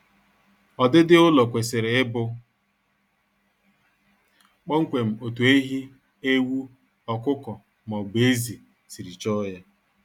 Ọdịdi ụlọ kwesịrị ịbụ kpọmkwem otu ehi, ewu, ọkụkọ maọbụ ezi siri chọọ ya